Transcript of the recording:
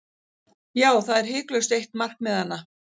Já, það er hiklaust eitt markmiðanna.